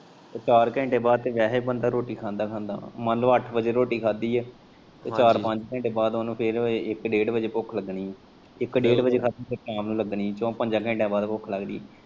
ਚਾਰ ਘੰਟੇ ਬਾਦ ਤੇ ਬੰਦਾ ਵੈਹੇ ਰੋਟੀ ਖਾਂਦਾ ਮੰਨ ਲੋ ਅੱਠ ਵਜੇ ਰੋਟੀ ਖਾਂਦੀ ਐ ਤੇ ਚਾਰ ਪੰਜ ਘੰਟੇ ਬਾਦ ਉਨੂੰ ਫੇਰ ਇੱਕ ਡੇਢ ਵਜੇ ਭੁੱਖ ਲੱਗਣੀ ਇੱਕ ਡੇਢ ਵਜੇ ਖਾਂਦੀ ਫੇਰ ਸ਼ਾਮ ਨੂੰ ਲੱਗਣੀ ਚੋ ਪੰਜ ਘੰਟਿਆਂ ਬਾਦ ਭੁੱਖ ਲੱਗਦੀ।